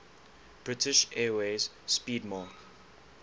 british airways 'speedmarque